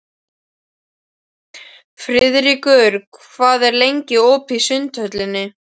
Friðríkur, hvað er lengi opið í Sundhöllinni?